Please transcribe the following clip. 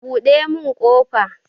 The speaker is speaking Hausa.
Buɗe mun ƙofa!